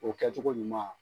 O kɛcogo ɲuman.